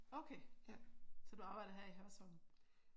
Okay. Så du arbejder her i Hørsholm?